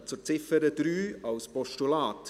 Wir kommen zur Ziffer 3 als Postulat.